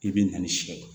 I bɛ na ni siɲɛ kɛ